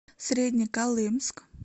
среднеколымск